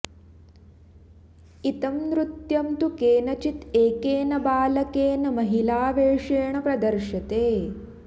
इतं नृत्यं तु केनचित् एकेन बालकेन महिलावेषेण प्रदर्श्यते